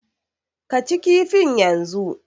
Ka ci kifin yanzu!